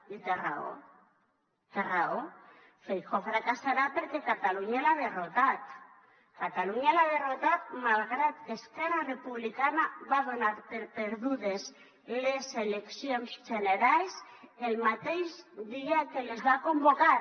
i té raó té raó feijóo fracassarà perquè catalunya l’ha derrotat catalunya l’ha derrotat malgrat que esquerra republicana va donar per perdudes les eleccions generals el mateix dia que les van convocar